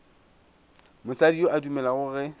mosadi yo a dumelago ge